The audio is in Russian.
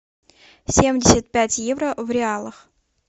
семьдесят пять евро в реалах